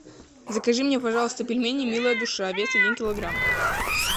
закажи мне пожалуйста пельмени милая душа вес один килограмм